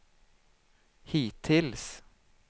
hittills